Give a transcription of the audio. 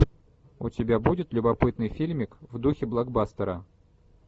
у тебя будет любопытный фильмик в духе блокбастера